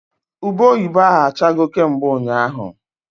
Ube oyibo ahụ achago kemgbe ụnyaahụ